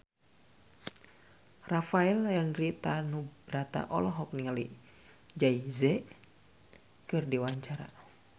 Rafael Landry Tanubrata olohok ningali Jay Z keur diwawancara